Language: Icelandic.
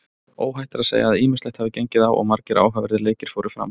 Óhætt er að segja að ýmislegt hafi gengið á og margir áhugaverðir leikir fóru fram.